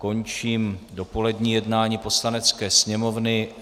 Končím dopolední jednání Poslanecké sněmovny.